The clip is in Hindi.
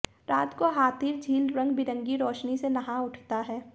रात को हाथीर झील रंगबिरंगी रोशनी से नहा उठता है